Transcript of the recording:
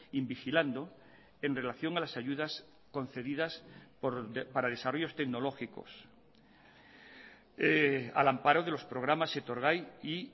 in vigilando en relación a las ayudas concedidas para desarrollos tecnológicos al amparo de los programas etorgai y